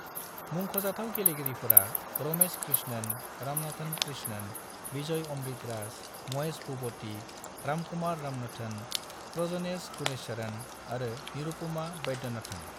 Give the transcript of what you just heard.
मुंख'जाथाव गेलेगिरिफोरा रमेश कृष्णन, रामनाथन कृष्णन, विजय अमृतराज, महेश भुपति, रामकुमार रामनाथन, प्रजनेश गुणेश्वरन आरो निरुपमा वैद्यनाथन।